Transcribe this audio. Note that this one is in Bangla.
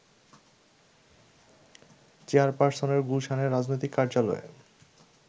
চেয়ারপারসনের গুলশানের রাজনৈতিক কার্যালয়ে